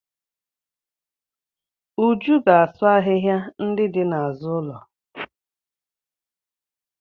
Uju ga-asụ ahịhịa ndị dị n'azụ ụlọ.